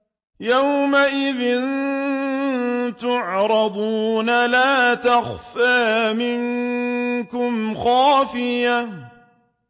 يَوْمَئِذٍ تُعْرَضُونَ لَا تَخْفَىٰ مِنكُمْ خَافِيَةٌ